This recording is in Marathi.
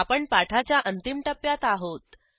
आपण पाठाच्या अंतिम टप्प्यात आहोत